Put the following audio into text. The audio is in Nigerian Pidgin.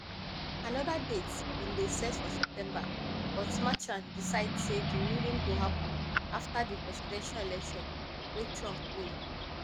anoda date bin dey set for september but merchan decide say di ruling go happun afta di presidential election wey trump win